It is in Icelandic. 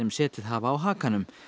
setið hafa á hakanum